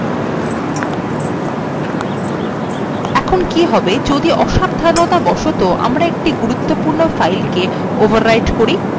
আমরা দেখছি যদি একটি file কে অন্য আগের থেকে বিদ্যমান file a copied করা হয় তাহলে বিদ্যমান file overwritten have